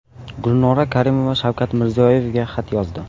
Gulnora Karimova Shavkat Mirziyoyevga xat yozdi.